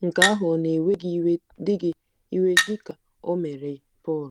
Nke ahụ ọ̀ na-ewe gị iwe dị gị iwe dị ka o mere Pọl?